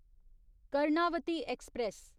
Karnavati express